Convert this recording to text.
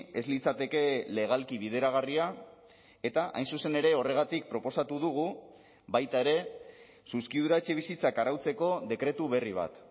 ez litzateke legalki bideragarria eta hain zuzen ere horregatik proposatu dugu baita ere zuzkidura etxebizitzak arautzeko dekretu berri bat